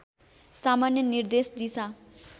सामान्य निर्देश दिशा